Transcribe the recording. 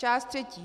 Část třetí.